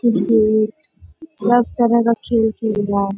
सब तरह का खेल खेल रहा हैं।